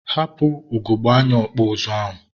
hapụ ugogbe anya ọkpụ ụzụ ahụ!